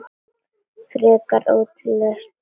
Frekar ódýr lausn, finnst mér.